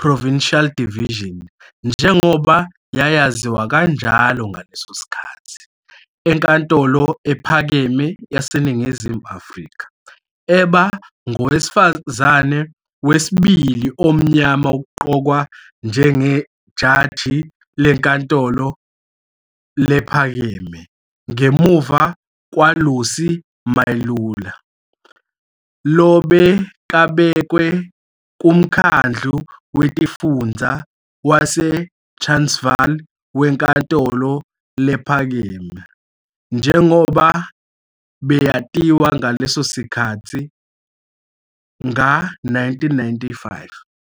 Provincial Division, njengoba yayaziwa kanjalo ngaleso sikhathi, eNkantolo Ephakeme yaseNingizimu Afrika, eba ngowesifazane wesibili omnyama ukuqokwa njengo ijaji leNkantolo Lephakeme ngemuva kwaLucy Mailula, lobekabekwe kuMkhandlu Wetifundza waseTransvaal Wenkantolo Lephakeme, njengoba beyatiwa ngaleso sikhatsi, nga-1995.